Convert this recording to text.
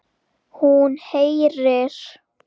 Hún heyrir.